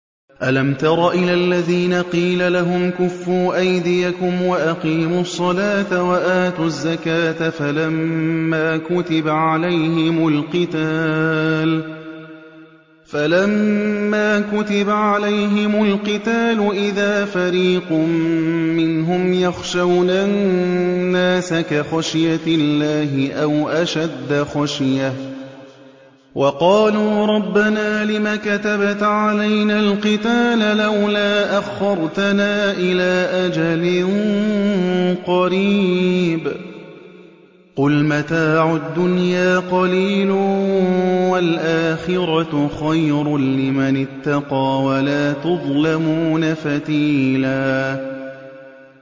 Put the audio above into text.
أَلَمْ تَرَ إِلَى الَّذِينَ قِيلَ لَهُمْ كُفُّوا أَيْدِيَكُمْ وَأَقِيمُوا الصَّلَاةَ وَآتُوا الزَّكَاةَ فَلَمَّا كُتِبَ عَلَيْهِمُ الْقِتَالُ إِذَا فَرِيقٌ مِّنْهُمْ يَخْشَوْنَ النَّاسَ كَخَشْيَةِ اللَّهِ أَوْ أَشَدَّ خَشْيَةً ۚ وَقَالُوا رَبَّنَا لِمَ كَتَبْتَ عَلَيْنَا الْقِتَالَ لَوْلَا أَخَّرْتَنَا إِلَىٰ أَجَلٍ قَرِيبٍ ۗ قُلْ مَتَاعُ الدُّنْيَا قَلِيلٌ وَالْآخِرَةُ خَيْرٌ لِّمَنِ اتَّقَىٰ وَلَا تُظْلَمُونَ فَتِيلًا